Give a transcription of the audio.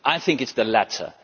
I think it is the latter.